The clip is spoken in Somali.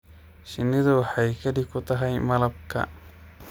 Shinnidu waxay keli ku tahay malabka.